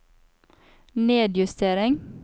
nedjustering